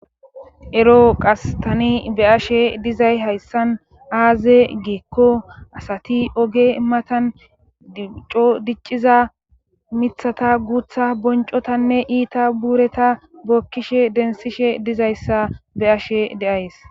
ero qas tan ani be'ashe dizay hayssan aaze geekko asati oge matan codicciza mithata guutha boncotanne iita buureta bookkishe densishe dizayssa be'ashe de'ays